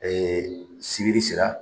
Ee sibiri sera.